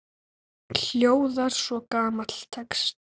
hljóðar svo gamall texti